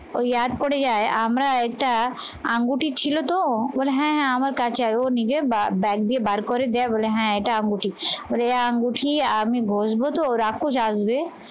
ওই পড়ে যায় আমরা এটা আঙ্গুটি ছিল তো? বলে হ্যাঁ হ্যাঁ আমার কাছে আয় ও নিজের bag দিয়ে বার করে দেয় বলে হ্যাঁ এটা আঙ্গুটি। ওরে আঙ্গুটি আমি বুঝবো তো রাক্ষস আসবে